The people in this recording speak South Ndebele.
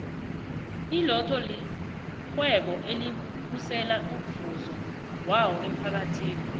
ilotto levhwebo elibusela umvuzo wawo emmphakathini